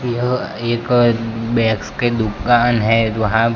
यह एक बैग्स के दुकान है वहां--